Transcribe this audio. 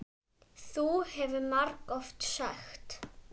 Það hefur þú margoft sagt.